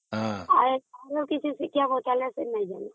ହଁ ଆଉ ଏଥିରୁ କିଛି ଶିକ୍ଷା ପଚାରିଲେ ସେ ଜାଣୁନାହିଁ